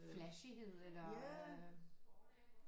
Flashy-hed eller øh